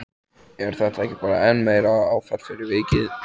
Er þetta ekki bara enn meira áfall fyrir vikið?